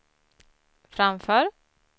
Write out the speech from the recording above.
framför